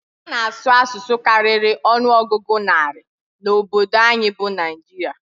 A na-asụ asụsụ karịrị ọnụọgụ narị na obodo anyị bụ Naịjirịa.